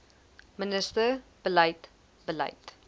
minister beleid beleid